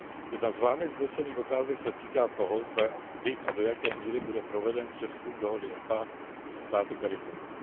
Jedna z Vámi vznesených otázek se týká toho, zda, kdy a do jaké míry bude proveden přezkum dohody EPA se státy CARIFORUM.